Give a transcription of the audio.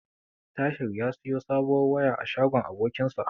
Tahir ya siyo sabuwar waya a shagon abokinsa.